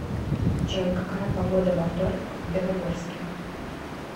джой какая погода во вторник в белогорске